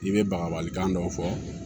I bɛ bagabali kan dɔw fɔ